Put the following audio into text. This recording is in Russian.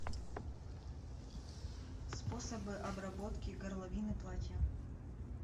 способы обработки горловины платья